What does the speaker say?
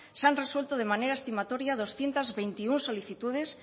se han resuelto de manera estimatoria doscientos veintiuno solicitudes